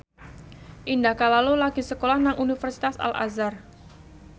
Indah Kalalo lagi sekolah nang Universitas Al Azhar